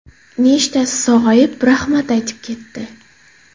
Nechtasi sog‘ayib, rahmat aytib ketdi.